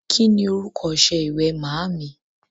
Ki ni orúkọ ọṣẹ ìwẹ̀ màámì?